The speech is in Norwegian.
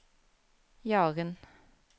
Jaren